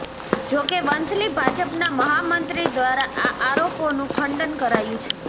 જોકે વંથલી ભાજપના મહામંત્રી દ્વારા આ આરોપોનું ખંડન કરાયું છે